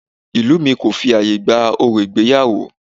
Ìlú mi kò fi ààyè gba orò ìgbéyàwó